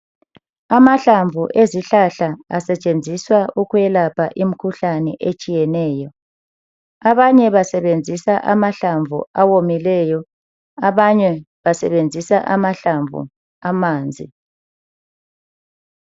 Amahlamvu ezihlahla asetshenziswa ukwelapha imkhuhlane etshiyeneyo. Abanye basebenzisa amahlamvu awomileyo, abanye basebenzisa amahlamvu amanzi.